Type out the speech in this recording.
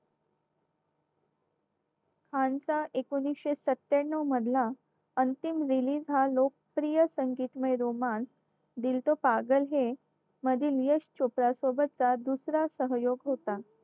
खानचा एकोणीशे सत्त्याण्णव मधला अंतिम release हा लोकप्रिय संगीतमय romance दिल तो पागल है मध्ये यश चोप्रा सोबतचा दुसरा सहयोग होता